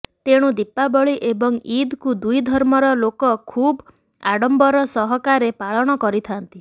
ତେଣୁ ଦୀପାବଳୀ ଏବଂ ଇଦକୁ ଦୁଇ ଧର୍ମର ଲୋକ ଖୁବ୍ ଆଡମ୍ବର ସହକାରେ ପାଳନ କରିଥାନ୍ତି